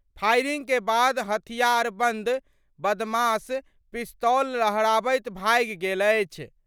Firing के बाद हथियारबंद बदमाश पिस्तौल लहराबैत भागि गेल अछि।